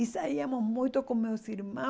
E saíamos muito com meus irmãos.